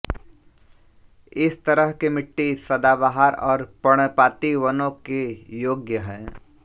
इस तरह की मिट्टी सदाबहार और पर्णपाती वनों के योग्य है